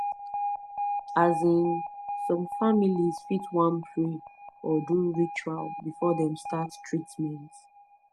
azinn some families fit wan pray or do ritual before dem start treatment